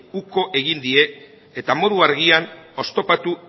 uko egin die eta modu argian oztopatu